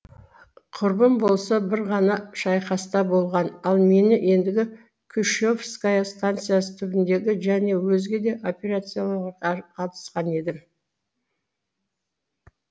құрбым болса бір ғана шайқаста болған ал мен ендігі куще вская станциасы түбіндегі және өзге де операцияларға қатысқан едім